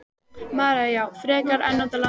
María: Já, frekar en út á land?